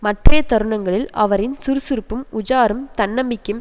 மற்றைய தருணங்களில் அவரின் சுறுசுறுப்பும் உஜாரும் தன்நம்பிக்கையும்